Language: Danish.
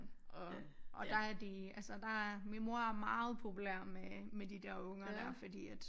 Og og der er det altså der er min mor er meget populær med med de der unger dér fordi at